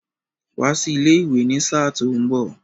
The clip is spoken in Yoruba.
Wá sí ilé ìwé ní sáà tó mbọ̀!